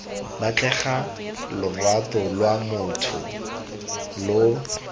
batlega lorato lwa motho lo